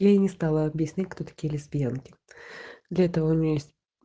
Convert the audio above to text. я и не стала объяснять кто такие лесбиянки для этого у нее есть